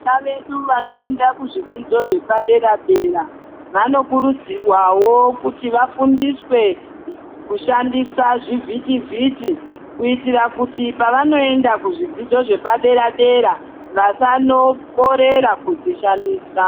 Vana vedu vanoenda kuzvidzidzo zvepadera dera vanokurudzirwawo kuti vafuswe kushandisa zvivhiti vhiti kuitira kuti pavanoenda kuzvidzidzo zvepadera dera vasanokorera kuzvishandisa.